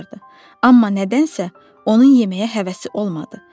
Amma nədənsə onun yeməyə həvəsi olmadı.